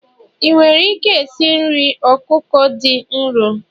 ị nwere ike esi nri ọkụkọ dị nro?